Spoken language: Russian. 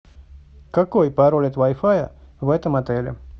какой пароль от вай фая в этом отеле